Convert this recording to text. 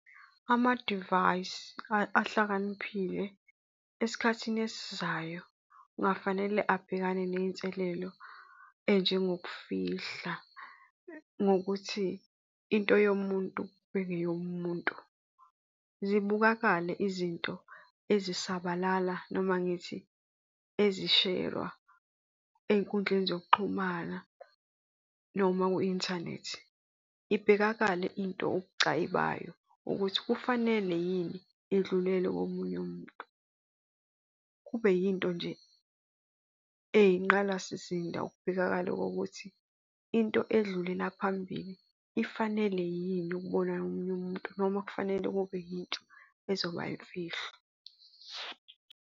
Amadivayisi ahlakaniphile esikhathini esizayo kungafanele abhekane ney'nselelo ey'njengokufihla ngokuthi into yomuntu bengeyomuntu. Zibukakale izinto ezisabalala noma ngithi ezisherwa ey'nkundleni zokuxhumana noma kwi-inthanethi. Ibhekakale into ubucayi bayo ukuthi kufanele yini idlulele komunye umuntu. Kube yinto nje eyinqalasizinda ukubhekakala kokuthi into edlulela phambili ifanele yini ukubona nomunye umuntu noma kufanele kube yintsha ezoba imfihlo.